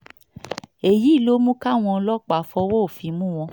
èyí ló mú káwọn ọlọ́pàá fọwọ́ òfin mú wọn